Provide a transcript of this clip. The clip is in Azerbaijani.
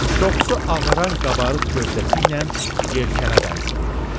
Çoxsu ağaran qabarıq gövdəsi ilə yelkənə bənzəyirdi.